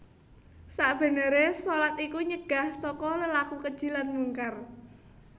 Sakbeneré shalat iku nyegah saka lelaku keji lan mungkar